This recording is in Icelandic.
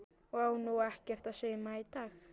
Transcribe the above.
Á nú ekkert að sauma í dag?